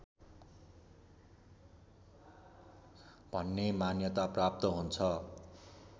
भन्ने मान्यता प्राप्त हुन्छ